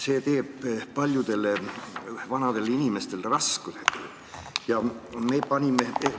See tekitab paljudele vanadele inimestele raskusi.